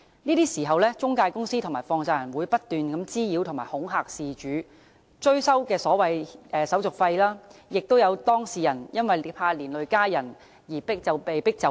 這時，中介公司及放債人會不斷滋擾及恐嚇事主，追收所謂手續費，亦有當事人因害怕連累家人而被迫就範。